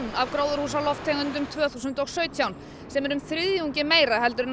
af gróðurhúsalofttegundum tvö þúsund og sautján sem er um þriðjungi meira en